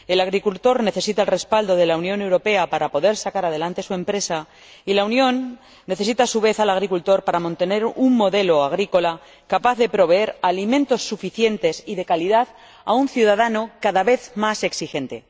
El agricultor necesita el respaldo de la Unión Europea para poder sacar adelante su empresa y la Unión necesita, a su vez, al agricultor para mantener un modelo agrícola capaz de proveer alimentos suficientes y de calidad a un ciudadano cada vez más exigente.